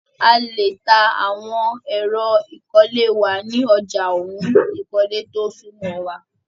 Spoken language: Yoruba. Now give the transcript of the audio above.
A lè ta àwọn ẹ̀ro ìkọ́lé wa ni ọja òhún ìkọ́lé tó súnmọ́ wa.